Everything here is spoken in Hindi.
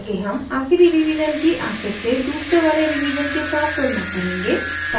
आगे हम आखिरी revision की आखिर से दूसरे वाले revision के साथ तुलना करेंगे